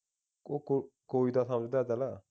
ਕੋ ਕੋ ਕੋਈ ਤਾਂ ਸਮਝਦਾ ਚੱਲ